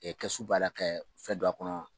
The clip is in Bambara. kɛsu baara kɛ fɛn don a kɔnɔ.